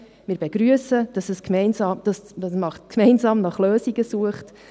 Wir begrüssen, dass man gemeinsam nach Lösungen sucht.